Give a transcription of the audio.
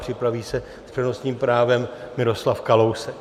Připraví se s přednostním právem Miroslav Kalousek.